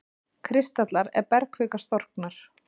kristallar er bergkvika storknar.